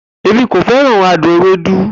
Emi ko feran adun ewedu